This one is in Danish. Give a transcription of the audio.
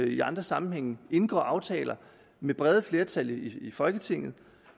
i andre sammenhænge indgår aftaler med brede flertal i folketinget